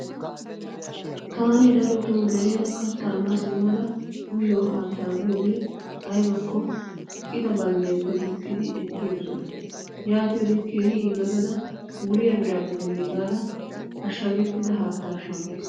Taani darotoo deriyan kattaa ma simmada uyiyo haattaa giyoodee aybakko qita balddiyaappe duuqqidi ekki yoosona. Yaatiyoode keehi yiillotada wuriya biraa gidenne gaada ashshagettida haattaa shammays.